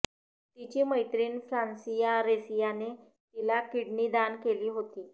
तिची मैत्रिण फ्रान्सिया रेसियाने तिला किडनी दान केली होती